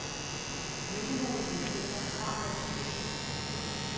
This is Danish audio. Myndighedernes hensigter har været de bedste.